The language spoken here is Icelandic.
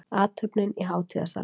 Athöfnin í hátíðasalnum